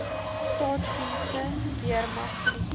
staatsdiens weermag polisie